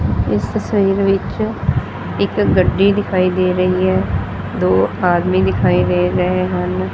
ਇਸ ਤਸਵੀਰ ਵਿੱਚ ਇੱਕ ਗੱਡੀ ਦਿਖਾਈ ਦੇ ਰਹੀ ਹੈ। ਦੋ ਆਦਮੀ ਦਿਖਾਈ ਦੇ ਰਹੇ ਹਨ।